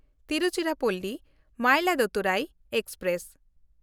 ᱛᱤᱨᱩᱪᱤᱨᱟᱯᱚᱞᱞᱤ–ᱢᱚᱭᱤᱞᱟᱫᱩᱛᱷᱩᱨᱟᱭ express